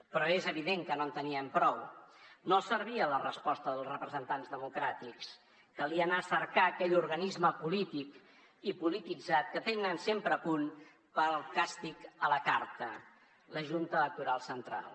però és evident que no en tenien prou no els servia la resposta dels representants democràtics calia anar a cercar aquell organisme polític i polititzat que tenen sempre a punt per al càstig a la carta la junta electoral central